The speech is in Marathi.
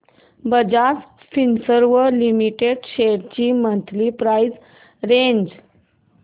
बजाज फिंसर्व लिमिटेड शेअर्स ची मंथली प्राइस रेंज